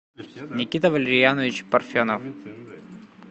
никита валерьянович парфенов